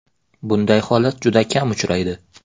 Bunday holat juda kam uchraydi.